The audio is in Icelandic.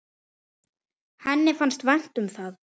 Henni fannst vænt um það.